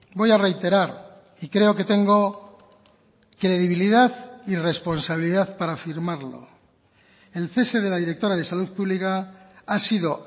voy a reiterar y creo que tengo credibilidad y responsabilidad para afirmarlo el cese de la directora de salud pública ha sido